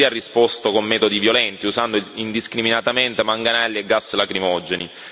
La polizia ha risposto con metodi violenti, usando indiscriminatamente manganelli e gas lacrimogeni.